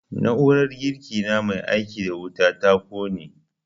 Na'urar girki na mai aiki da wuta ta ƙone